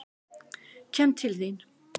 Kem til þín.